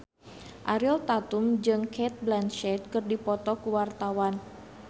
Ariel Tatum jeung Cate Blanchett keur dipoto ku wartawan